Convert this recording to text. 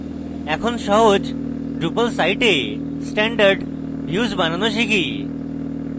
এখন সহজ drupal site a standard views বানানো শিখি